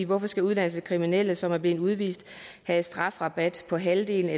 hvorfor skal udenlandske kriminelle som er blevet udvist have strafrabat på halvdelen af